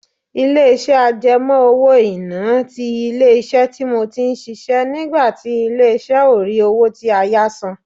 Ilé-iṣẹ́ àjẹmọ́ owó-ìná ti ilé-iṣẹ́ tí mo ti ń ṣiṣẹ́ nígbà tí ilé-ìṣẹ́ ó rí owó tí a yá san